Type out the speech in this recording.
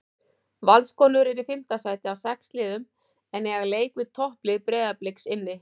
Valskonur eru í fimmta sæti af sex liðum en eiga leik við topplið Breiðabliks inni.